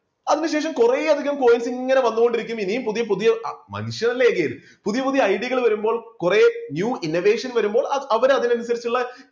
അതിനുശേഷം കുറെയധികം coins ഇങ്ങനെ വന്നുകൊണ്ടിരിക്കുന്നു ഇനിയും പുതിയ പുതിയ മനുഷ്യരല്ലേ പുതിയ പുതിയ idea കൾ വരുമ്പോൾ കുറേ new innovation വരുമ്പോൾ അവ~അവർ അതിനനുസരിച്ചുള്ള